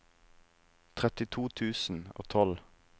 trettito tusen og tolv